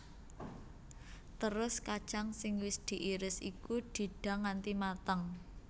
Terus kacang sing wis diiris iku didang nganti mateng